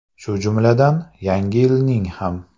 Shu jumladan, Yangi yilning ham.